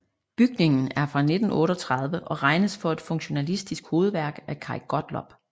Bygningen er fra 1938 og regnes for et funktionalistisk hovedværk af Kaj Gottlob